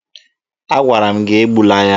Agwara m gị egbula ya!